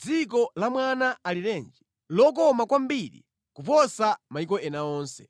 dziko la mwana alirenji, lokoma kwambiri kuposa mayiko ena onse.